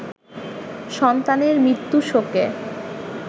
সন্তানের মৃত্যু শোকে